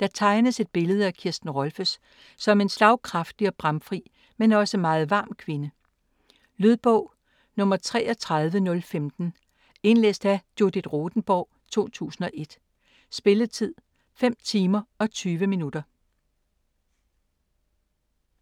Der tegnes et billede af Kirsten Rolffes som en slagkraftig og bramfri, men også meget varm kvinde. Lydbog 33015 Indlæst af Judith Rothenborg, 2001. Spilletid: 5 timer, 20 minutter.